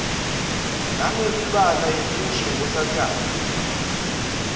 nangemibala yemushi yenkosatane